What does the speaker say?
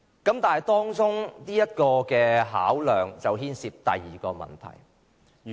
然而，當中牽涉第二個問題。